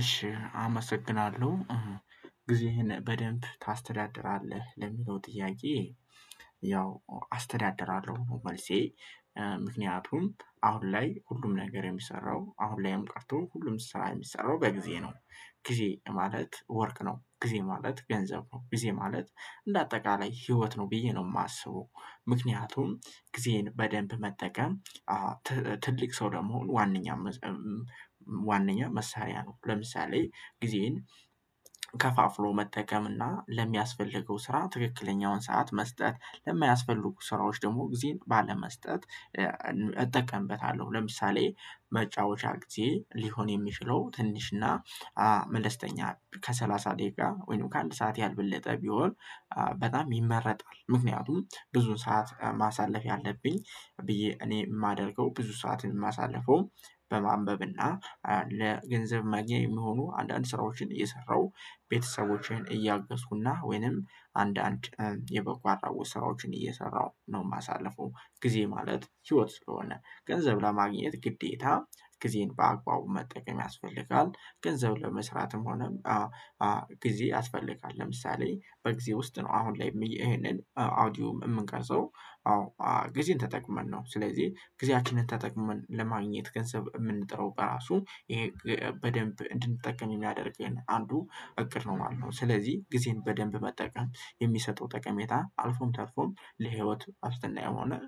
እሺ አመሰግናለሁ፤ "ጊዜህን በደንብ ታስተዳድራለህ?" ለሚለው ጥያቄ ያው አስተዳድራለሁ ነው መልሴ፤ ምክንያቱም አሁን ላይ ሁሉም ነገር የሚሰራው፣ አሁን ላይም ቀርቶ ሁሉም ስራ የሚሰራው በጊዜ ነው። ጊዜ ማለት ወርቅ ነው፤ ጊዜ ማለት ገንዘብ ነው፤ ጊዜ ማለት እንደ አጠቃላይ ህይወት ነው ብዬ ነው የማስበው። ምክንያቱም ጊዜዬን በደንብ መጠቀም ትልቅ ሰው፣ ለመሆን ዋናኛው መስ ዋናኛው መሳሪያ ነው፤ ለምሳሌ ጊዜዬን ከፋፍሎ መጠቀምና ለሚያስፈልገው ስራ ትክክለኛውን ሰዓት መስጠት፣ ለማያስፈልጉ ስራዎች ደግሞ ጊዜን ባለመስጠት እጠቀምበታለሁ፤ ለምሳሌ መጫወቻ ጊዜዬ ሊሆን የሚችለው ትንሽና መለስተኛ፣ ከሰላሳ ደቂቃ ወይም ከአንድ ሰዓት ያልበለጠ ቢሆን በጣም ይመረጣል፤ ምክንያቱም ብዙ ሰዓት ማሳለፍ ያለብኝ ብዬ እኔ የማደርገው፣ ብዙ ሰዓትን የማሳልፈው በማንበብ እና ለገንዘብ ማግኛ የሚሆኑ አንዳንድ ስራዎችን እየሰራሁ፣ ቤተሰቦችን እያገዝኩና ወይንም አንዳንድ የበጎ አድራጎት ስራዎችን እየሰራሁ ነው የማሳልፈው። ጊዜ ማለት ህይወት ስለሆነ፣ ገንዘብ ለማግኘት ግዴታ ጊዜን በአግባቡ መጠቀም ያስፈልጋል፤ ገንዘብ ለመስራትም ሆነ ጊዜ ያስፈልጋል። ለምሳሌ በጊዜ ውስጥ ነው አሁን ላይ ይህንን ኦዲዮ የምንቀርጸው። አዎ፣ ጊዜን ተጠቅመን ነው። ስለዚህ ጊዜያችንን ተጠቅመን ለማግኘት፣ ገንዘብ የምንጥረው በራሱ ይሄ በደንብ እንድንጠቀም የሚያደርገኝ አንዱ እቅድ ነው ማለት ነው። ስለዚህ ጊዜን በደንብ መጠቀም የሚሰጠው ጠቀሜታ አልፎም ተርፎም ለህይወት ዋስትና ይሆናል።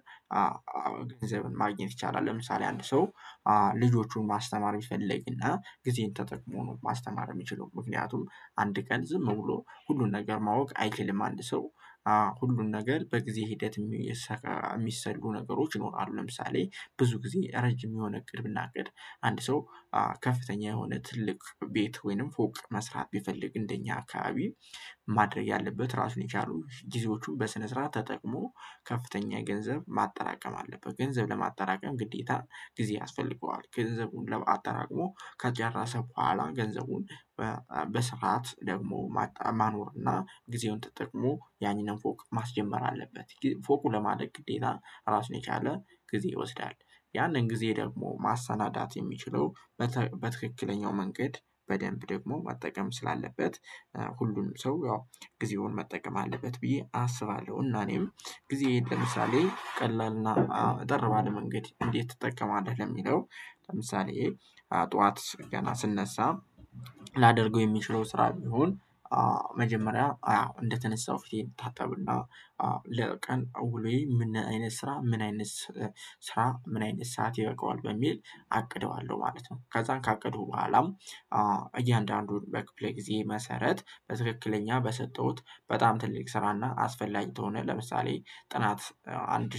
ገንዘብን ማግኘት ይቻላል፤ ለምሳሌ አንድ ሰው ልጆቹን ማስተማር ቢፈልግና ጊዜን ተጠቅሞ ነው ማስተማር የሚችለው። ምክንያቱም አንድ ቀን ዝም ብሎ ሁሉን ነገር ማወቅ አይችልም። አንድ ሰው ሁሉን ነገር በጊዜ ሂደት የሚሰካ የሚሰሉ ነገሮች ይኖራሉ። ለምሳሌ ብዙ ጊዜ ረጅም የሆነ እቅድ ብናቅድ አንድ ሰው ከፍተኛ የሆነ ትልቅ ቤት ወይም ፎቅ መስራት ቢፈልግ፣ እንደ እኛ አካባቢ ማድረግ ያለበት ራሱን የቻሉ ጊዜዎቹን በስነ ስርዓት ተጠቅሞ ከፍተኛ ገንዘብ ማጠራቀም አለበት። ገንዘብ ለማጠራቀም ግዴታ ጊዜ ያስፈልገዋል። ገንዘቡን ለ አጠራቅሞ ከጨረሰ በኋላ ገንዘቡን በ በስርዓት ደግሞ ማጠ ማኖር እና ጊዜውን ተጠቅሞ ያንን ፎቅ ማስጀመር አለበት። ፎቁ ለማደግ ግዴታ ራሱን የቻለ ጊዜ ይወስዳል። ያንን ጊዜ ደግሞ ማሰናዳት የሚችለው በት በትክክለኛው መንገድ በደንብ ደግሞ መጠቀም ስላለበት ሁሉንም ሰው ያው ጊዜውን መጠቀም አለበት ብዬ አሰባለሁ። እና እኔም ጊዜዬን ለምሳሌ ቀላልና አጠር ባለ መንገድ እንዴት ትጠቀማለህ ለሚለው፣ ለምሳሌ ጠዋት ገና ስነሳ ላደርገው የምችለው ስራ ቢሆን መጀመሪያ አዎ እንደተነሳሁ ፊቴን እታጠብና ለቀን ውሎዬ ምን አይነት ስራ፣ ምን አይነት ስራ፣ ምን አይነት ሰዓት ይበቃዋል በሚል አቅደዋለሁ ማለት ነው። ከዛ ካቀድኩ በኋላም እያንዳንዱን በክፍለ ጊዜ መሰረት በትክክለኛ በሰጠሁት በጣም ትልቅ ስራና አስፈላጊ ከሆነ፣ ለምሳሌ ጥናት አንድ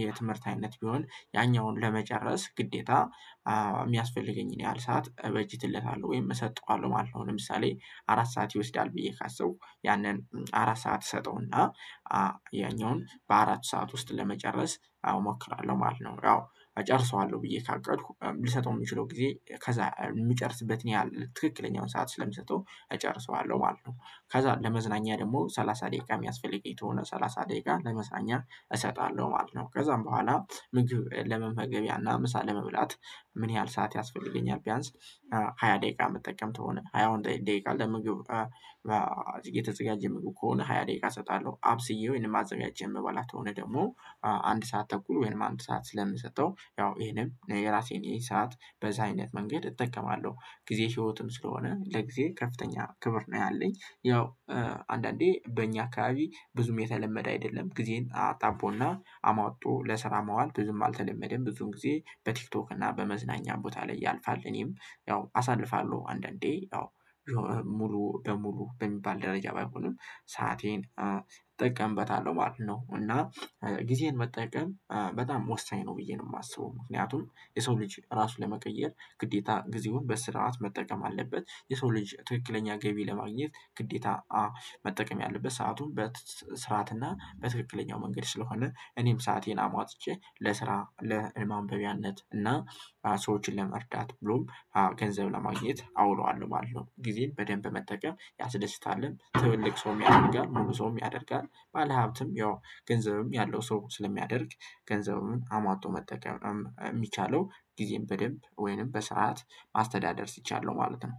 የትምህርት አይነት ቢሆን ያኛውን ለመጨረስ ግዴታ የሚያስፈልገኝን ያህል ሰዓት እበጀትልታለሁ ወይም እሰጠዋለሁ ማለት ነው። ለምሳሌ አራት ሰዓት ይወስዳል ብዬ ካሰብኩ ያንን አራት ሰዓት እሰጠውና ያኛውን በአራት ሰዓት ውስጥ ለመጨረስ አዎ እሞክራለሁ ማለት ነው። ያው እጨርሰዋለሁ ብዬ ካቀድኩ ልሰጠው የምችለው ጊዜ ከዛ የምጨርስበትን ያህል ትክክለኛውን ሰዓት ስለመትሰጠው እጨርሰዋለሁ ማለት ነው። ከዛ ለመዝናኛ ደግሞ ሰላሳ ደቂቃ የሚያስፈልገኝ ከሆነ፣ ሰላሳ ደቂቃ ለመዝናኛ እሰጣለሁ ማለት ነው። ከዛም በኋላ ምግብ ለመመገቢያና ምሳ ለመብላት ምን ያህል ሰዓት ያስፈልገኛል፣ ቢያንስ ሃያ ደቂቃ የምጠቀም ከሆነ ሃያውን ደቂቃ፣ ለምግብ የተዘጋጀ ምግብ ከሆነ ሃያ ደቂቃ እሰጣለሁ። አብስዬው ወይንም አዘጋጅቼ የምበላ ከሆነ ደግሞ አንድ ሰዓት ተኩል ወይም አንድ ሰዓት ስለምሰጠው፣ ያው ይሄንም የራሴን ይህን ሰዓት በዛ አይነት መንገድ እጠቀማለሁ። ጊዜ ህይወትም ስለሆነ ለጊዜ ከፍተኛ ክብር ነው ያለኝ። ያው አንዳንዴ በእኛ አካባቢ ብዙም የተለመደ አይደለም። ጊዜን አጣቦና አሟጦ ለስራ ማዋል ብዙም አልተለመደም። ብዙን ጊዜ በቲክቶክ እና በመዝናኛ ቦታ ላይ ያልፋል። እኔም ያው አሳልፋለሁ አንዳንዴ ያው ሙሉ በሙሉ በሚባል ደረጃ ባይሆንም ሰአቴን እጠቀምበታለሁ ማለት ነው። እና ጊዜን መጠቀም በጣም ወሳኝ ነው ብዬ ነው የማስበው። ምክንያቱም የሰው ልጅ ራሱን ለመቀየር ግዴታ ጊዜውን በስርዓት መጠቀም አለበት። የሰው ልጅ ትክክለኛ ገቢ ለማግኘት ግዴታ መጠቀም ያለበት ሰአቱን በትት በስራት እና በትክክለኛው መንገድ ስለሆነ እኔም ሰአቴን አሟጥጬ ለስራ፣ ለማንበቢያነት እና ሰዎችን ለመርዳት ብሎም ገንዘብ ለማግኘት አውለዋለሁ ማለት ነው። ጊዜን በደንብ መጠቀም ያስደስታልም፤ ትልቅ ሰውም ያደርጋል፣ ሙሉ ሰውም ያደርጋል። ባለሀብትም ያው ገንዘብም ያለው ሰው ስለሚያደርግ ገንዘቡን አሟጦ መጠቀም የሚቻለው ጊዜን በደንብ ወይም በስርዓት ማስተዳደር ሲቻል ነው ማለት ነው።